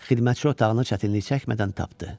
Xidmətçi otağını çətinlik çəkmədən tapdı.